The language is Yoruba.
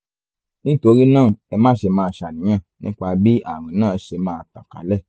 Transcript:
nítorí náà ẹ máṣe máa ṣàníyàn nípa bí ààrùn náà ṣe máa tàn kálẹ̀